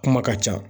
Kuma ka ca